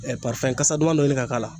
kasa duman dɔ ɲini k'a k'a la.